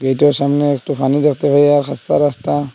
এটার সামনে একটো ফানি দেখতে ।